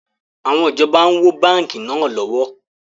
Àwọn ìjọba ń wó báńkì náà lọ́wọ́